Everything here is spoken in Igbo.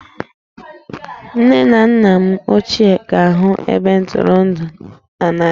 Nne na nna m ochie ga-ahụ ebe ntụrụndụ a n'anya